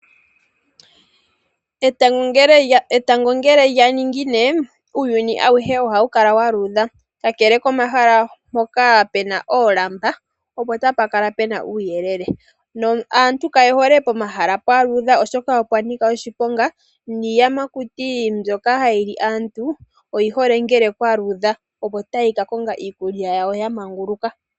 Etango ngele lya ningine uuyuni awuhe oha wu kala wa luudha. Kakele komahala mpoka pena oolamba opo tapa kala pena uuyelele no aantu yaye hole pomahala pwaluudha oshoka opwa nika oshiponga. Niiyamakuti mbyoka hayi li aantu oyi hole ngele kwaludha opo tayi ka konga iikulya yawo yamaguluka.